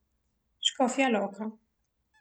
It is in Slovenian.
Škofja Loka.